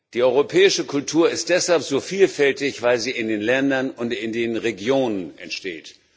Die europäische Kultur ist deshalb so vielfältig, weil sie in den Ländern und in den Regionen entsteht.